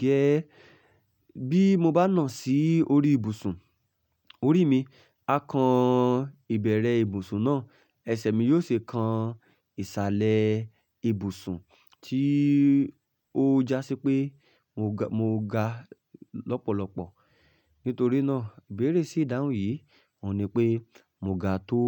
gẹ́. Bí mo bá nà sí orí ibùsùn, orí mi a kan ìbẹ̀rẹ̀ ibùsùn náà, ẹsẹ̀ mi yóò ṣì kan ìsàlẹ̀ ibùsùn tí ó jásí pé mo ga, mo ga lọ́pọ̀lọpọ̀. Nítorí náà ìbéèrè sí ìdáhùn yìí ò ní pé mo ga tó.